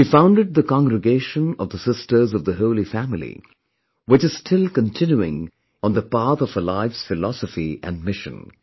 She founded the Congregation of the Sisters of the Holy Family which is still continuing on the path of her life's philosophy and mission